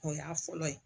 O y'a fɔlɔ ye